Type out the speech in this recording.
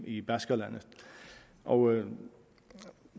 i baskerlandet og